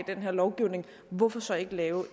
den her lovgivning hvorfor så ikke lave